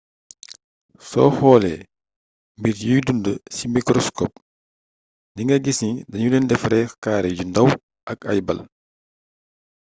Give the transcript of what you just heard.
soo xoolee mbir yuy dund ci mikroskop di nga gis ni danu leen defaree kaare yu ndaw ak ay ball